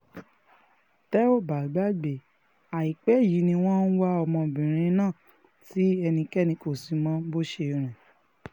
tẹ́ ò bá gbàgbé àìpẹ́ yìí ni wọ́n ń wá ọmọbìnrin náà tí ẹnikẹ́ni kò sì mọ bó ṣe rìn